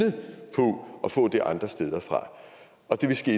få det andre steder fra og det vil ske